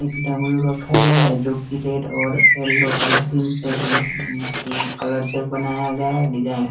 एक डमरू रखा गया है जो की रेड और येलो और से कलर से बनाया गया डिजाइन --